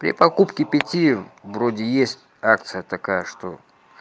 при покупке пяти вроде есть акция такая что